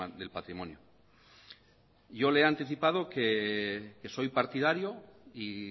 del patrimonio yo le he anticipado que soy partidario y